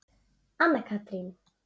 Anna Katrín.